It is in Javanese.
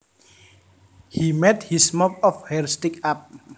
He made his mop of hair stick up